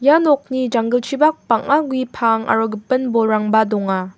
ia nokni janggilchipak bang·a gue pang aro gipin bolrangba donga.